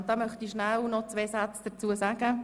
Dazu möchte ich rasch zwei Sätze sagen.